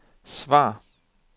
svar